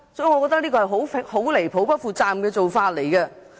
我覺得這是很離譜及不負責任的做法。